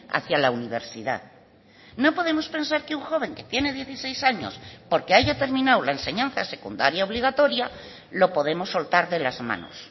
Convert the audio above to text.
hacía la universidad no podemos pensar que un joven que tiene dieciséis años porque haya terminado la enseñanza secundaria obligatoria lo podemos soltar de las manos